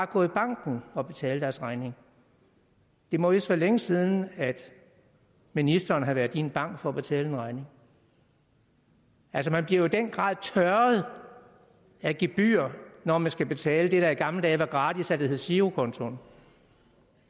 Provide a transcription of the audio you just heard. gå i banken og betale deres regning det må vist være længe siden at ministeren har været i en bank for at betale en regning altså man bliver den grad tørret af gebyrer når man skal betale det der i gamle dage var gratis da det hed girokontoen